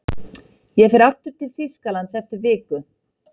Ég fer aftur til Þýskalands eftir viku.